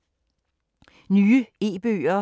Nye e-bøger